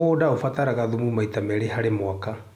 Mũgũnda ũbataraga thumu maita merĩ harĩ mwaka.